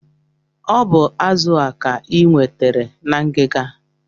O bu azụ a ka I nwetere na ngiga?